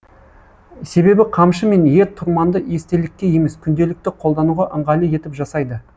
себебі қамшы мен ер тұрманды естелікке емес күнделікті қолдануға ыңғайлы етіп жасайды